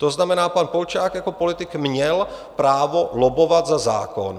To znamená, pan Polčák jako politik měl právo lobbovat za zákon.